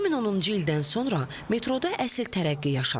2010-cu ildən sonra metroda əsil tərəqqi yaşanıb.